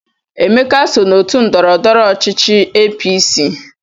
Emeka so n'otu ndọrọndọrọ ọchịchị APC.